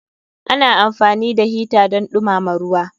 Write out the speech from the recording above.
Ana amfani da hita don dumama ruwa.